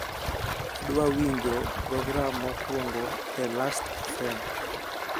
adwa winjo program mokwongo e lastfm